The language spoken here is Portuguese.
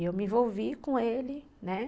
E eu me envolvi com ele, né?